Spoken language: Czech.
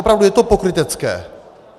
Opravdu je to pokrytecké.